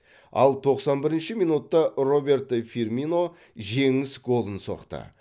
ал тоқсан бірінші минутта роберто фирмино жеңіс голын соқты